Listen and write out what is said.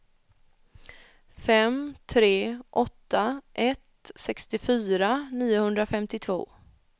fem tre åtta ett sextiofyra niohundrafemtiotvå